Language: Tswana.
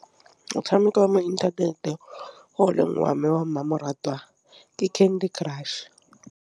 Motšhameko wa mo inthaneteng oleng wa me wa mmamoratwa ke Candy Crush.